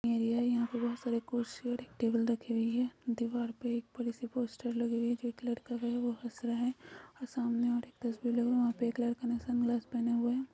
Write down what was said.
Area है बहुत सारे कुर्सी और टेबल दिख रहीं है दीवार पे एक बड़े से पोस्टर लगा हैं एक लड़का हैं वो हस्स रहे हैं और सामने एक तस्वीर हैं वह पर एक लड़का ने सन ग्लासेज पहन हुए हैं।